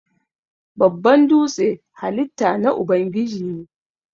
Babban dūtse halitta na Ubangiji ne.